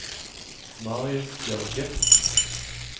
Marius Bjørge